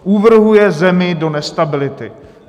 Uvrhuje zemi do nestability.